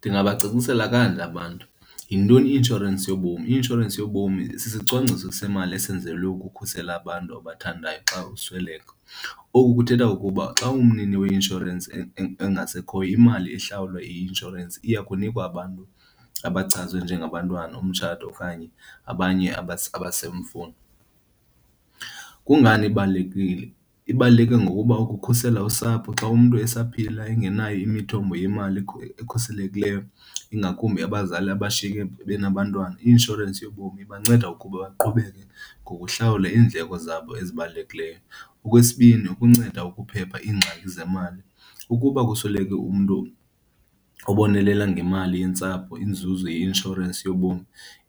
Ndingabacacisela kanje abantu. Yintoni i-inshorensi yobomi? I-inshorensi yobomi sisicwangciso semali esenzelwe ukukhusela abantu obathandayo xa usweleka. Oku kuthetha ukuba xa umnini weinshorensi engasekhoyo, imali ihlawulwa yi-inshorensi iyakunikwa abantu abachazwe njengabantwana, umtshato okanye abanye . Kungani ibalulekile? Ibaluleke ngokuba ukukhusela usapho xa umntu esaphila engenayo imithombo yemali ekhuselekileyo, ingakumbi abazali abashiyeke benabantwana, i-inshorensi yobomi ibanceda ukuba baqhubeke ngokuhlawula iindleko zabo ezibalulekileyo. Okwesibini, ukunceda ukuphepha iingxaki zemali. Ukuba kusweleke umntu ubonelela ngemali yentsapho, inzuzo yeinshorensi yobomi